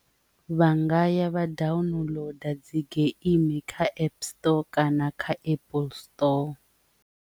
Vha nga ya vha downloader dzi geimi kha app store kana kha apple store.